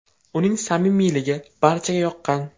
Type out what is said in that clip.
Uning samimiyligi barchaga yoqqan.